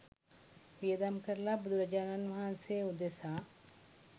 වියදම් කරලා බුදුරජාණන් වහන්සේ උදෙසා